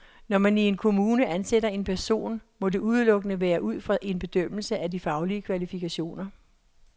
Når man i en kommune ansætter en person, må det udelukkende være ud fra en bedømmelse af de faglige kvalifikationer.